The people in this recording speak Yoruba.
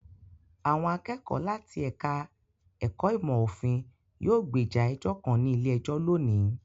Àwọn akẹ́kọ̀ọ́ láti ẹ̀ka-ẹ̀kọ́ ìmọ̀-òfin yóò gbèjà ẹjọ́ kan ní ilé-ẹjọ́ lónìí.